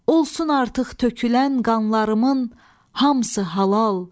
Olsun artıq tökülən qanlarımın hamısı halal.